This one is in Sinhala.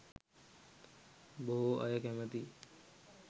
බොහෝ අය කැමැතියි.